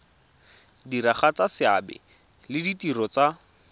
diragatsa seabe le ditiro tsa